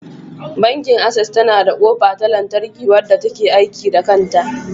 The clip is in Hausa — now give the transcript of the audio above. Bankin Access yana da kofa ta lantarki, wanda ta ke aiki da kanta.